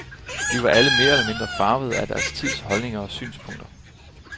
De var alle mere eller mindre farvede af deres tids holdninger og synspunkter.